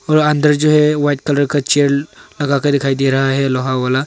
और अंदर जो है वाइट कलर का चेयर लगा के दिखाई दे रहा है लोहा वाला।